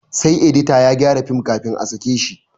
Sai edita ya gyara film kafin a sake shi